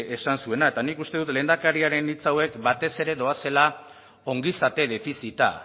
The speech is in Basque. esan zuena eta nik uste dut lehendakariaren hitz hauek batez ere doazela ongizate defizita